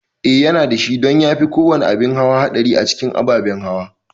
Eh yana dashi don yafi kowane abin hawa haɗari a cikin ababen hawa